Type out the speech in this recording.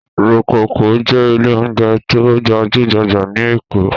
Rococo jẹ́ ilé-oúnjẹ tó gbajú-gbajà ní Èkó.